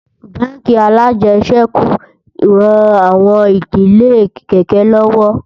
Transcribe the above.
bánkì alàjesèkú ràn àwọn ìdílé kéké lówó